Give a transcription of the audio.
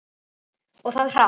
Og það hratt.